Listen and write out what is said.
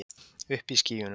Uppi í skýjunum.